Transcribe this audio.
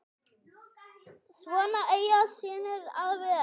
Svona eiga synir að vera.